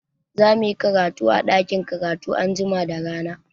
Za muyi karatu a ɗakin karatu anjima da rana.